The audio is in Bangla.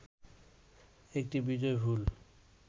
একটি বিজয়ফুল